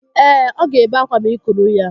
Ee, ọ ga-ebe akwa ma ị kuru ya